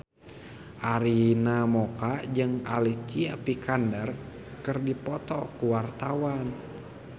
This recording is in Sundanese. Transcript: Arina Mocca jeung Alicia Vikander keur dipoto ku wartawan